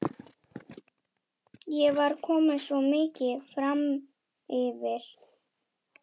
En þið þið eruð þjóðinni til skammar, flissandi pelabörn.